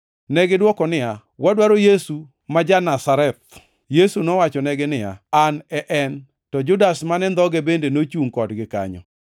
Negidwoko niya, “Wadwaro Yesu ma jo-Nazareth.” Yesu nowachonegi niya, “An e en.” (To Judas mane ndhoge bende nochungʼ kodgi kanyo).